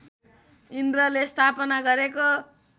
इन्द्रले स्थापना गरेको